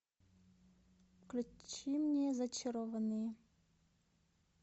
включи мне зачарованные